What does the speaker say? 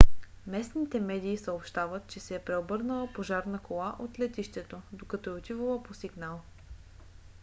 местните медии съобщават че се е преобърнала пожарна кола от летището докато е отивала по сигнал